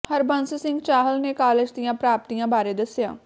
ਹਰਬੰਸ ਸਿੰਘ ਚਾਹਲ ਨੇ ਕਾਲਜ ਦੀਆਂ ਪ੍ਰਾਪਤੀਆਂ ਬਾਰੇ ਦੱਸਿਆ